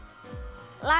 lag